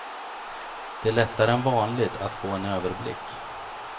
Det är lättare än vanligt att få en överblick.